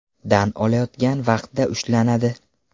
dan olayotgan vaqtda ushlanadi.